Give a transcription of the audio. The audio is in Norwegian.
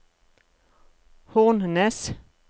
Hornnes